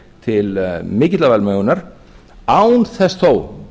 til mikillar velmegunar án þess þó